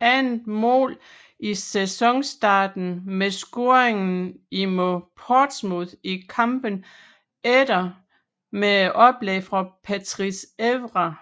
andet mål i sæsonstarten med scoringen mod Portsmouth i kampen efter med et oplæg fra Patrice Evra